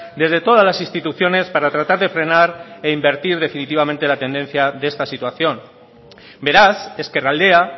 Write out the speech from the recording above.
desde todas las instituciones para tratar de frenar e invertir definitivamente la tendencia de esta situación beraz ezkerraldea